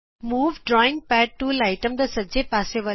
move drawing pad tool item ਦੇ ਸੱਜੇ ਪਾਸੇ ਵਲ ਹੈ